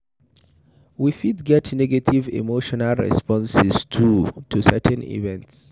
We fit get negative emotional responses too to certain events